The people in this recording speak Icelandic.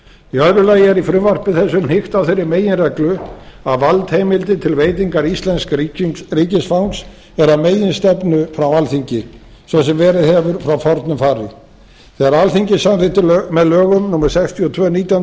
í öðru lagi er í frumvarpi þessu hnykkt á þeirri meginreglu að valdheimildir til veitingar íslensks ríkisfangs eru að meginstefnu frá alþingi svo sem verið hefur frá fornu fari þegar alþingi samþykkti með lögum númer sextíu og tvö nítján hundruð